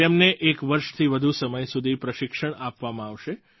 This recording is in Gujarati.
તેમને એક વર્ષથી વધુ સમય સુધી પ્રશિક્ષણ આપવામાં આવશે